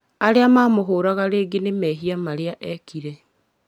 Arĩa mamũhũraga rĩngĩ nĩmehia marĩa ekire